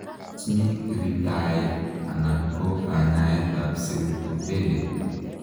Tos mii kirindaet anan ko kanyaet ap seutopelate?